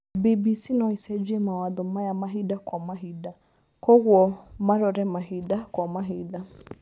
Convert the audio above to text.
BBC noĩcenjie mawatho maya Mahinda kwa Mahinda koguo marore Mahinda kwa mahinda